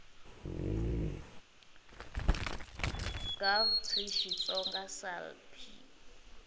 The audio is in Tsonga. gov pri xitsonga sal p